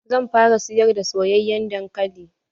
Zan fara siyar da soyayen dankali.